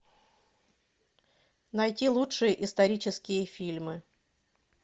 найти лучшие исторические фильмы